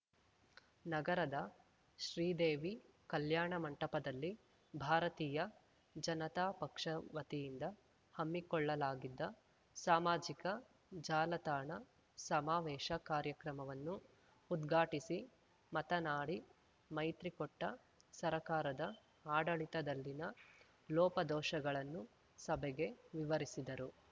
ನಗರದ ಶ್ರೀದೇವಿ ಕಲ್ಯಾಣ ಮಂಟಪದಲ್ಲಿ ಭಾರತೀಯ ಜನತಾಪಕ್ಷ ವತಿಯಿಂದ ಹಮ್ಮಿಕೊಳ್ಳಲಾಗಿದ್ದ ಸಾಮಾಜಿಕ ಜಾಲತಾಣ ಸಮಾವೇಶ ಕಾರ್ಯಕ್ರಮವನ್ನು ಉದ್ಘಾಟಿಸಿ ಮತನಾಡಿ ಮೈತ್ರಿಕೊಟ್ಟ ಸರ್ಕಾರದ ಆಡಳಿತದಲ್ಲಿನ ಲೋಪದೋಷಗಳನ್ನು ಸಭೆಗೆ ವಿವರಿಸಿದರು